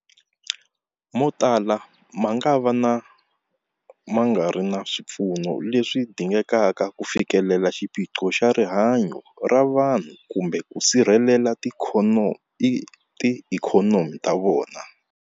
Motala mangava ma nga ri na swipfuno leswi dingekaka ku fikelela xiphiqo xa rihanyu ra vanhu kumbe ku sirhelela tiikhonomi ta vona.